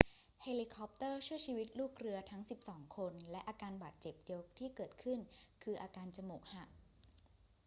เฮลิคอปเตอร์ช่วยชีวิตลูกเรือทั้งสิบสองคน และอาการบาดเจ็บเดียวที่เกิดขึ้นคืออาการจมูกหัก